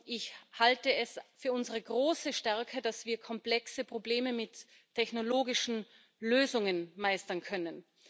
Ich halte es für unsere große Stärke, dass wir komplexe Probleme mit technologischen Lösungen meistern können.